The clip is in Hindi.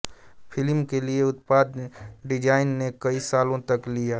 फ़िल्म के लिए उत्पादन डिजाइन ने कई सालों तक लिया